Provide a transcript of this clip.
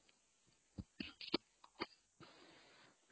noise